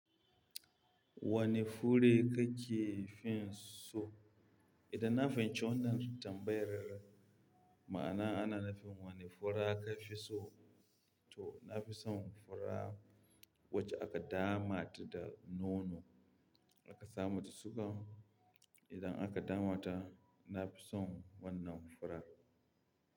Wane fure kake fin so? Idan na fahimci wannan tambayar, ma'ana ana nufin wane fura ka fi so to na fi son fura wacce aka damata da nono aka sa mata suga. Idan aka damata na fi son wannan fura.